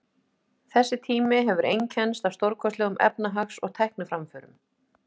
Þessi tími hefur einkennst af stórkostlegum efnahags- og tækniframförum.